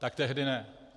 Tak tehdy ne.